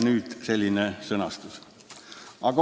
Nüüd siis selline sõnastus.